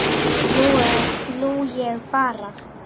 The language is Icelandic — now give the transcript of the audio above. Nú ég bara.